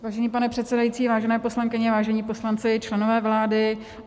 Vážený pane předsedající, vážené poslankyně, vážení poslanci, členové vlády.